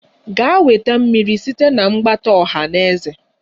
Gaa weta mmiri site na mgbata ọha na eze!